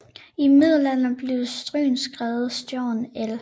I middelalderen blev Stryn skrevet Strjon el